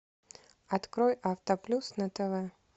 открой авто плюс на тв